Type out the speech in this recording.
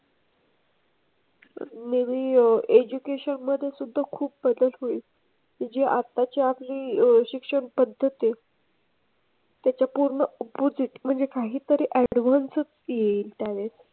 Maybe education मध्ये सुद्धा खूप प्रगत होईल. जे आताच्या हे शिक्षण पद्धत आहे त्याच्या पूर्ण opposite म्हणजे काहीतरी advance च येईल त्याने.